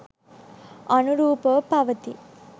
අනුරූපව පවතී.